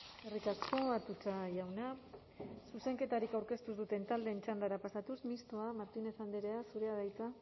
eskerrik asko atutxa jauna zuzenketarik aurkeztu ez duten taldeen txandara pasatuz mistoa martínez andrea zurea da hitza